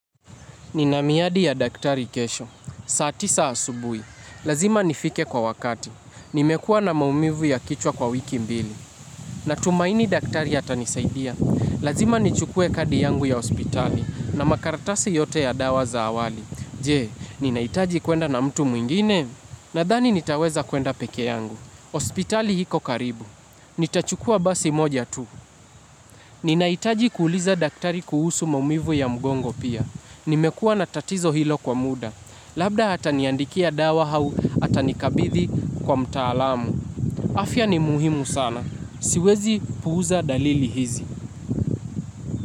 Ninamiadi ya daktari kesho. Saati sa asubuhi. Lazima nifike kwa wakati. Nimekua na maumivu ya kichwa kwa wiki mbili. Natumaini daktari a tanisaidia. Lazima nichukue kadi yangu ya hospitali na makaratasi yote ya dawa za awali. Je, ninahitaji kwenda na mtu mwingine? Nadhani nitaweza kwenda pekee yangu. Hospitali iko karibu. Nitachukua basi moja tu. Ninahitaji kuuliza daktari kuhusu maumivu ya mgongo pia. Nimekua natatizo hilo kwa muda. Labda ataniandikia dawa au atanikabithi kwa mtaalamu. Afya ni muhimu sana. Siwezi puuza dalili hizi.